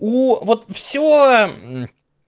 вот все